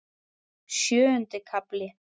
Sjöundi kafli